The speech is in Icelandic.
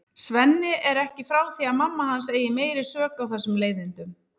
Svenni er ekki frá því að mamma hans eigi meiri sök á þessum leiðindum.